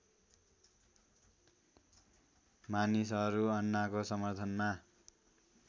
मानिसहरू अन्नाको समर्थनमा